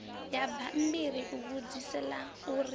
ya bammbiri ivhudzisi ḽa u